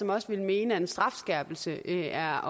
også ville mene at en strafskærpelse er